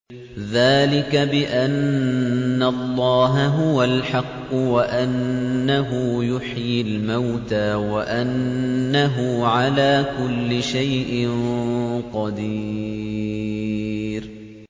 ذَٰلِكَ بِأَنَّ اللَّهَ هُوَ الْحَقُّ وَأَنَّهُ يُحْيِي الْمَوْتَىٰ وَأَنَّهُ عَلَىٰ كُلِّ شَيْءٍ قَدِيرٌ